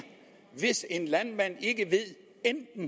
hvis en landmand ikke ved